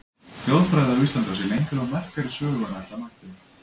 Þjóðfræði á Íslandi á sér lengri og merkari sögu en ætla mætti.